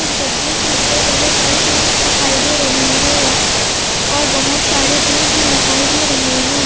उस गड्ढे के ऊपर बहुत सारी ईंट दिखाई दे रही है और बहुत सारे पेड़ भी दिखाई दे रहे हैं।